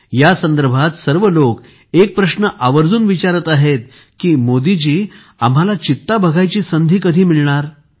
यासंदर्भात सर्व लोक एक प्रश्न आवर्जून विचारत आहेत की मोदीजी आम्हाला चित्ता बघायची संधी कधी मिळणार